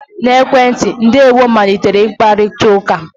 na ekwentị, 'ndewo' malitere mkparịta ụka